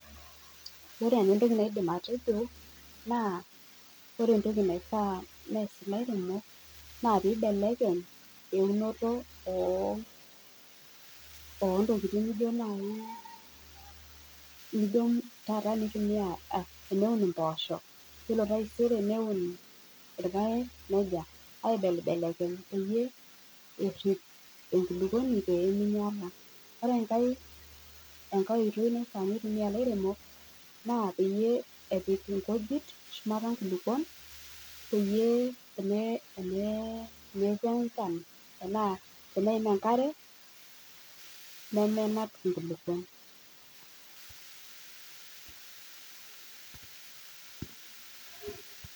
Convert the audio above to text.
Ore naa entoki naidim atejo naa ore entoki naifaa nees ilairemok naa piibelekeny eunoto oo ntokiting nijo naai nijo taata eneun mboosho, ore taiseri neun irpaek, neija aibelibelekeny peyie errip enkulukwoni peeminyala. Ore enkae, enkae oitoi naifaa neitumia ilairemok naa peyie epik inkujit shumata inkujit peyie eneku enchan enaa teneim enkare nimenap inkulukwon